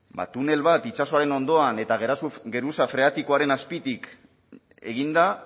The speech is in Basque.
tunel bat itsasoaren ondoan eta geruza freatikoaren azpitik eginda